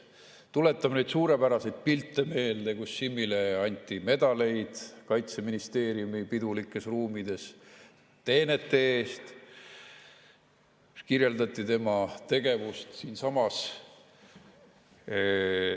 Tuletame meelde neid suurepäraseid pilte, kus Simmile anti medaleid Kaitseministeeriumi pidulikes ruumides teenete eest, kirjeldati tema tegevust ka siinsamas.